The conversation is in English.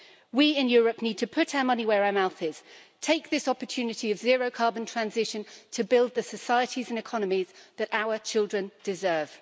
We in Europe need to put our money where our mouth is and take this opportunity of zero carbon transition to build the societies and economies that our children deserve.